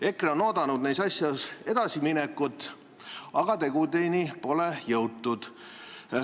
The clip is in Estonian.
EKRE on neis asjus edasiminekut oodanud, aga tegudeni pole jõutud.